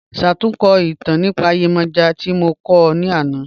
Ṣátùnkọ́ itàn nípa Yemoja tí mo kọ̀ ọ́ ní ànà.